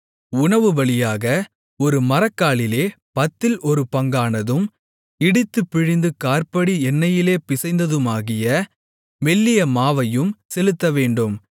உணவுபலியாக ஒரு மரக்காலிலே பத்தில் ஒரு பங்கானதும் இடித்துப் பிழிந்த காற்படி எண்ணெயிலே பிசைந்ததுமாகிய மெல்லிய மாவையும் செலுத்தவேண்டும்